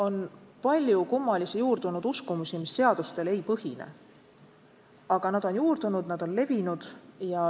On palju kummalisi juurdunud uskumusi, mis seadustel ei põhine, aga need on juurdunud, on levinud.